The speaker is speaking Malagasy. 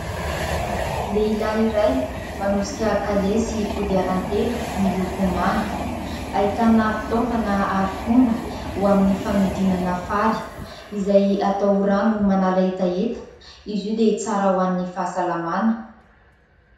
Lehilahy iray manosika kalesy kodiaran-telo miloko manga ; ahitana fitaovana harifomba ho amin'ny fanodinana fary izay atao rano manala hetaheta. Izy io dia tsara ho an'ny fahasalamana.